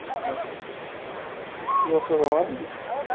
হ্যাঁ, কি অবস্থা তোমার?